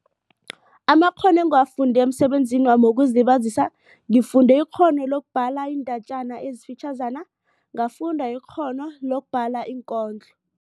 Amakghono engiwafunde emsebenzinami wokuzilibazisa. Ngifunde ikghono lokubhala iindatjana ezifitjhazana. Ngafunda ikghono lokubhala iinkondlo.